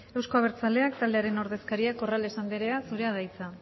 euzko abertzaleak taldearen ordezkaria corrales andrea zurea da hitza